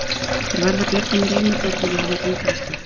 Ég varð að bjarga mér ein með börnin og hafði enga aðstoð.